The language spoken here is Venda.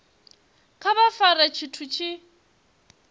kha vha fare tshithu tshi